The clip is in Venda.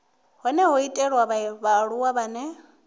hone ho itelwa vhaaluwa vhane